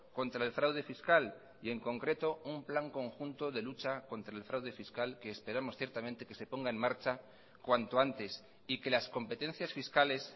contra el fraude fiscal y en concreto un plan conjunto de lucha contra el fraude fiscal que esperamos ciertamente que se ponga en marcha cuanto antes y que las competencias fiscales